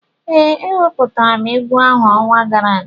Ee, eweputara m egwu ahụ ọnwa gara aga